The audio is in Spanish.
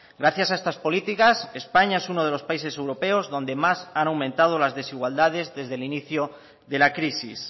gracias a estas políticas españa es uno de los países europeos donde más han aumentado las desigualdades desde el inicio de la crisis